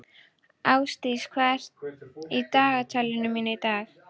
Árdís, hvað er í dagatalinu mínu í dag?